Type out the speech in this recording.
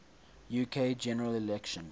uk general election